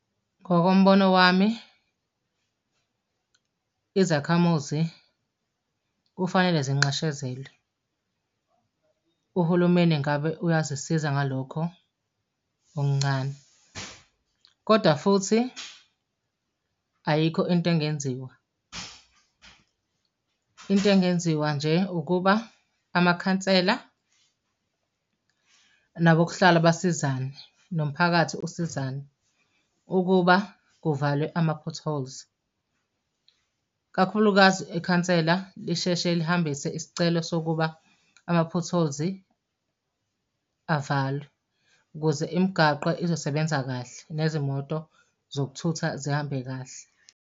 Ngokombono wami, izakhamuzi kufanele zinxeshezelwe. Uhulumeni ngabe uyazisiza ngalokho okuncane, kodwa futhi ayikho into engenziwa. Into engenziwa nje ukuba amakhansela nabokuhlala basizane, nomphakathi usizane ukuba kuvalwe ama-potholes. Kakhulukazi ikhansela lisheshe lihambise isicelo sokuba ama-potholes avalwe, ukuze imigaqo izosebenza kahle, nezimoto zokuthutha zihambe kahle.